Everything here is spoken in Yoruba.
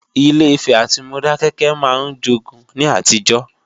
Ilé-Ifè àti Modákẹ́kẹ́ máa ń jogun ní àtijọ́